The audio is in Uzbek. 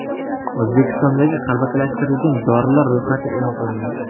O‘zbekistondagi qalbakilashtirilgan dorilar ro‘yxati e’lon qilindi.